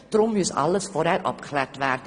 Deshalb müsse alles vorher abgeklärt werden.